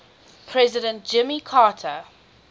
president jimmy carter